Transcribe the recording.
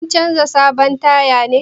Kin canza sabon taya ne?